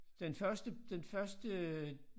Den første den første øh